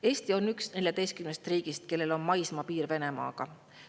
Eesti on üks 14 riigist, kellel on maismaapiir Venemaaga.